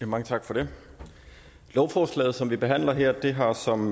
mange tak for det lovforslaget som vi behandler her har som